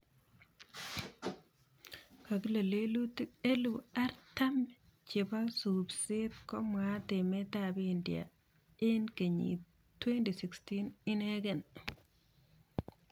Kakile lelutik elipu artam chebo supset komwaat Emet ab India ing kenyit 2016 inege.